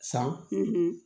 San